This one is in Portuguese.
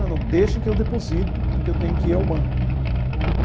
Falei, não, deixa que eu deposito, porque eu tenho que ir ao banco.